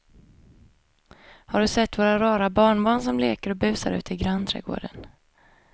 Har du sett våra rara barnbarn som leker och busar ute i grannträdgården!